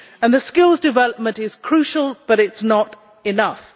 The skills development is crucial, but it is not enough